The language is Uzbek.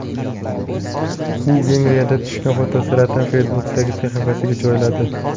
U Vengriyada tushgan fotosuratini Facebook’dagi sahifasiga joyladi .